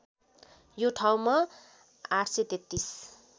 यो ठाउँमा ८३३